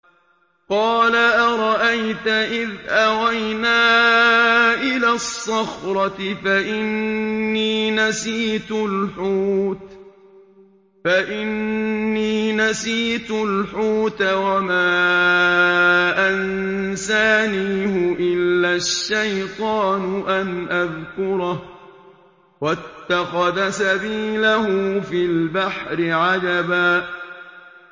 قَالَ أَرَأَيْتَ إِذْ أَوَيْنَا إِلَى الصَّخْرَةِ فَإِنِّي نَسِيتُ الْحُوتَ وَمَا أَنسَانِيهُ إِلَّا الشَّيْطَانُ أَنْ أَذْكُرَهُ ۚ وَاتَّخَذَ سَبِيلَهُ فِي الْبَحْرِ عَجَبًا